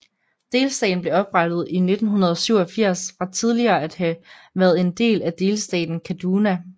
Delstaten blev oprettet i 1987 fra tidligere at have været en del af delstaten Kaduna